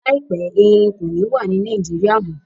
Laipẹ̀, Ẹrìn kò ní wà ní Nàìjíríà mọ.